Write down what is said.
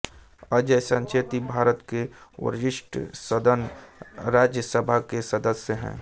अजय संचेती भारत के वरिष्ठ सदन राज्यसभा के सदस्य हैं